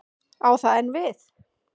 Á það enn við?